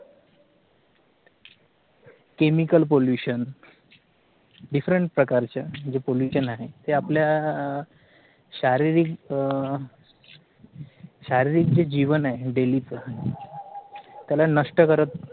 chemical pollution different प्रकारच्या म्हणजे pollution आहे ते आपल्या शारीरिक अह शारीरिक जे जीवन आहे daily च त्याला नष्ट करत